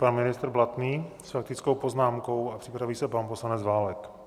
Pan ministr Blatný s faktickou poznámkou a připraví se pan poslanec Válek.